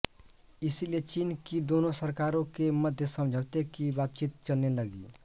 इसलिए चीन की दोनों सरकारों के मध्य समझौते की बातचीत चलने लगी